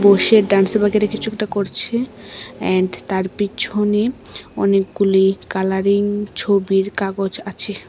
বসে ডান্স বগেরা কিছু একটা করছে অ্যান্ড তার পিছনে অনেকগুলি কালারিং ছবির কাগজ আছে।